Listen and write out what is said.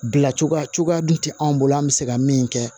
Bila cogoya dun tɛ anw bolo an bɛ se ka min kɛ